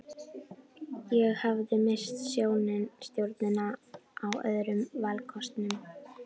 Ég hafði misst sjónar á öðrum valkostum.